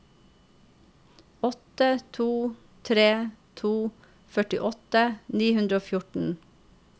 åtte to tre to førtiåtte ni hundre og fjorten